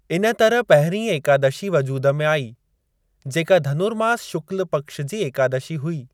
इन तरह पहिरीं एकादशी वजूद में आई, जेका धनुर्मास शुक्ल पक्ष जी एकादशी हुई।